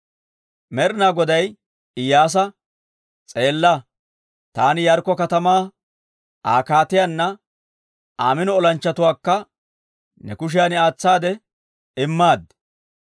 Med'ina Goday Iyyaasa, «S'eella, taani Yaarikko katamaa Aa kaatiyaanna Aa mino olanchchatuwaakka ne kushiyan aatsaade immaad.